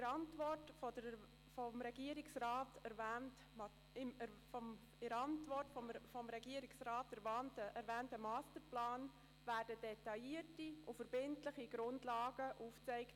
Der Masterplan, den der Regierungsrat in seiner Antwort erwähnt, wird detaillierte und verbindliche Grundlagen aufzeigen.